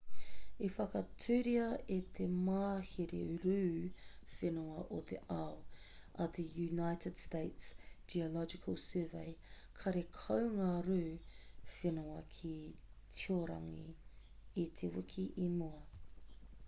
i whakaaturia e te mahere rū whenua o te ao a te united states geological survey karekau ngā rū whenua ki tiorangi i te wiki i mua